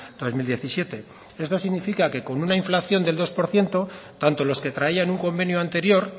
dos mil diecisiete esto significa que con una inflación del dos por ciento tanto los que traían un convenio anterior